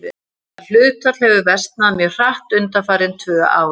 Það hlutfall hefur versnað mjög hratt undanfarin tvö ár.